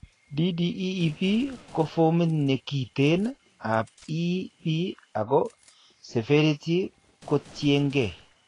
DDEB ko formit nekiteen ab EB ako severity kotiengee